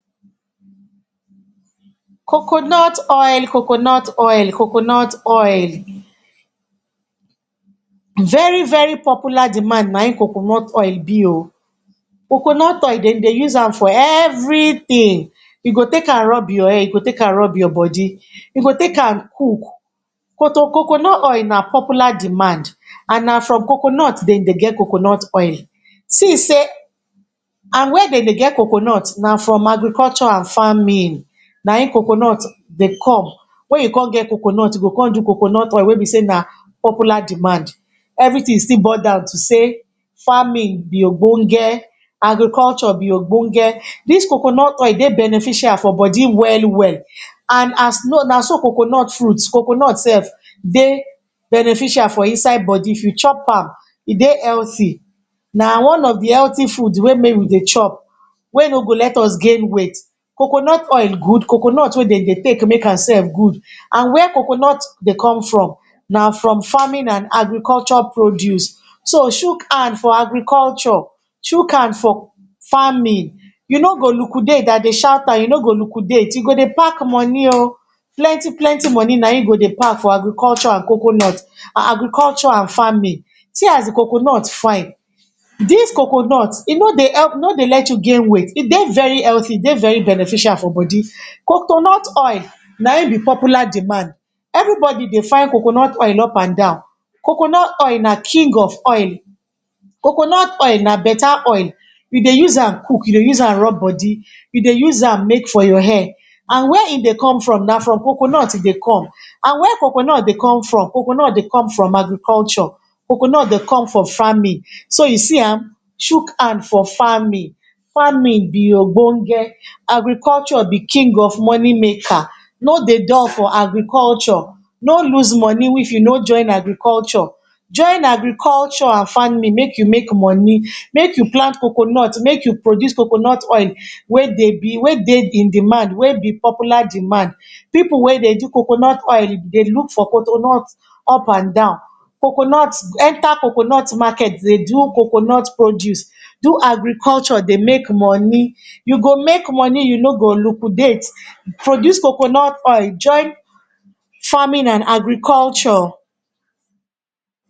Coconut oil, coconut oil coconut oil, very very popular demand na im coconut oil be oh. Coconut oil, de dey use am for everything. You go take am rub your hair, you go take am run your body, you go take am cook. Coconut oil na popular demand and na from coconut de dey get coconut oil. See sey, and where de dey get coconut, na from agriculture and farming. Na im coconut dey come. Wen you con get coconut, you go con do coconut oil wey be sey na popular demand. Everything still boil down to say, farming be ogbonge, agriculture be ogbonge. Dis coconut oil dey beneficial for body well well. And as know, na so coconut fruit, coconut self dey beneficial for inside body. If you chop am, e dey healthy. Na one of the healthy food wey mey we dey chop. Wey no go let us gain weight. Coconut oil good. Coconut self wey de dey take nake am self good. And where coconut dey come from? Na from farming and agriculture produce. So, chuk hand for agriculture. Chuk hand for farming. You no go liquidate. I dey shout am, you no go liquidate. You go dey pack money oh. Plenty plenty money na im you go dey pack for agriculture and, agriculture and farming. See as the coconut fine. Dis coconut, e no dey help, e no dey let you gain weight. E dey very healthy, e dey very beneficial for body. Coconut oil, na im be popular demand. Everybody dey find coconut ol up and down. Coconut oil na king of oil. Coconut oil na better oil. You dey use am cook, you dey use am rub body, you dey use am make for your hair. And where e dey come from na from coconut e dey come. And where coconut dey come from? Coconut dey come from agriculture, coconut dey come from farming. So, you see am. Chuk hand for farming. Farming be ogbonge, agriculture be king of money maker. No dey dull for agriculture. No lose money if you no join agriculture. Join agriculture and farming make you make money. Make you plant coconut, make you produce coconut oil wey dey be, wey dey in demand, wey be popular demand. Pipu wey dey do coconut oil, dey look for coconut up and down. Coconut, enter coconut market dey do coconut produce, do agriculture dey make money. You go make money, you no go liquidate. Produce coconut oil join farming and agriculture.